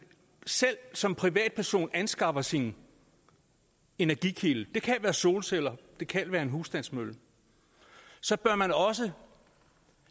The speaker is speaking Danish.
selv som privatperson anskaffer sin energikilde det kan være solceller det kan være en husstandsmølle så bør man også